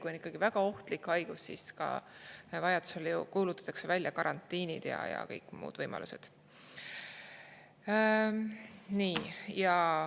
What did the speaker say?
Kui on ikkagi väga ohtlik haigus, siis vajadusel kuulutatakse välja karantiin ja on ka kõik muud võimalused.